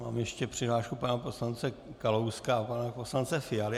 Mám ještě přihlášku pana poslance Kalouska a pana poslance Fialy.